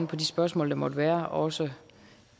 på de spørgsmål der måtte være også